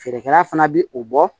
Feerekɛla fana bi o bɔ